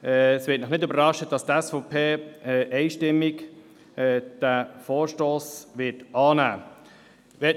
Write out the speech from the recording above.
Es wird Sie nicht überraschen, dass die SVP diesen Vorstoss einstimmig annehmen wird.